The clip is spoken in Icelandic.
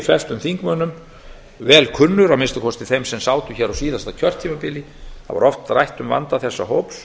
flestum þingmönnum vel kunnur að minnsta kosti þeim sem sátu hér á síðasta kjörtímabili þá var oft rætt um vanda þessa hóps